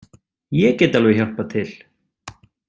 Ég get alveg hjálpað til.